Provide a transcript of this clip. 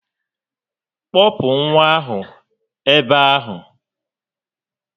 Kpọpụ nwa ahụ ebe ahụ